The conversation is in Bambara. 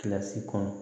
Kilasi kɔnɔ